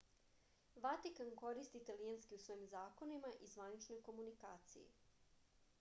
vatikan koristi italijanski u svojim zakonima i zvaničnoj komunikaciji